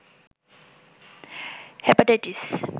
hepatitis